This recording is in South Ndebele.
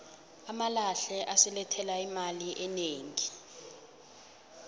amalahle asilethela imali enegi